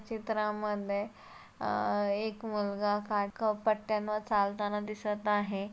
चित्रामध्ये अह एक मुलगा पट्ट्यांवर चालताना दिसत आहे.